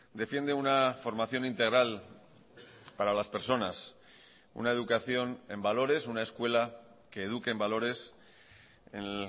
defiende una formación integral para las personas una educación en valores una escuela que eduque en valores en